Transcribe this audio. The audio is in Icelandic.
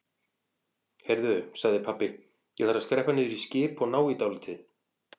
Heyrðu sagði pabbi, ég þarf að skreppa niður í skip og ná í dálítið.